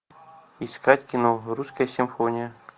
искать кино русская симфония